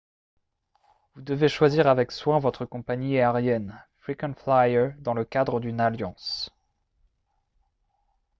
vous devez choisir avec soin votre compagnie aérienne frequent flyer dans le cadre d'une alliance